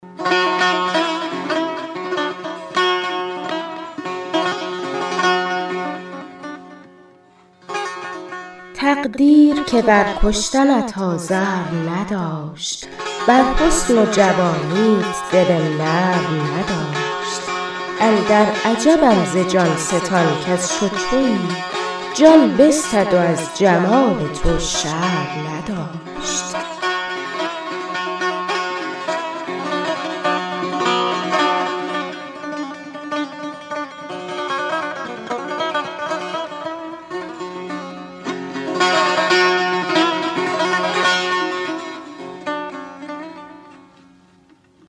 تقدیر که بر کشتنت آزرم نداشت بر حسن و جوانیت دل نرم نداشت اندر عجبم ز جان ستان کز چو تویی جان بستد و از جمال تو شرم نداشت